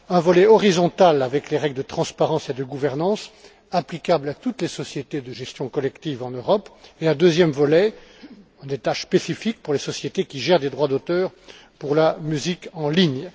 Un volet horizontal, avec les règles de transparence et de gouvernance, applicable à toutes les sociétés de gestion collective en Europe, et un deuxième volet avec des tâches spécifiques pour les sociétés qui gèrent les droits d'auteur pour la musique en ligne.